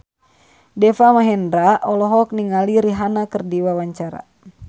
Deva Mahendra olohok ningali Rihanna keur diwawancara